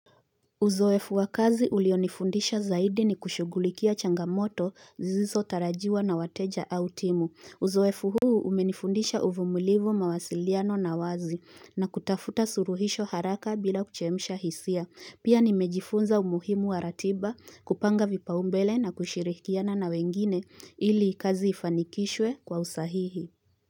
Uzoefu wa kazi ulionifundisha zaidi ni kushugulikia changamoto zisizo tarajiwa na wateja au timu. Uzoefu huu umenifundisha uvumilivu mawasiliano na wazi na kutafuta suluhisho haraka bila kuchemisha hisia. Pia nimejifunza umuhimu wa ratiba kupanga vipa umbele na kushirikiana na wengine ili kazi ifanikishwe kwa usahihi.